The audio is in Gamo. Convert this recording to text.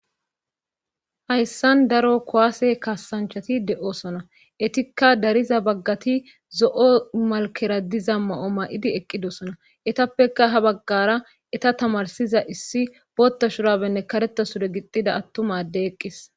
Hayssan daro kowaase kasanchati de7osona etikka dariza baggati zo7o malkera diza ma7o ma7idi eqqidosona etappeka ha baggara eta tamarsiza issi pootta shurabenne kareta sure gixxida attumadde eqqis